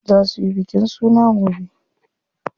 Za suyi bikin suna gobe.